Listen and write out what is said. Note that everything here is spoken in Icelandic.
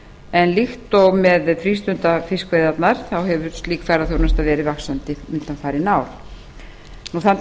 en líkt og með frístundafiskveiðarnar hefur slík ferðaþjónusta verið vaxandi undanfarin ár þann